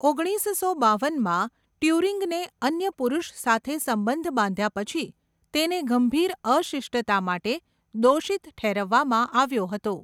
ઓગણીસસો બાવનમાં, ટ્યુરિંગને અન્ય પુરુષ સાથે સંબંધ બાંધ્યા પછી, તેને ગંભીર અશિષ્ટતા માટે દોષિત ઠેરવવામાં આવ્યો હતો.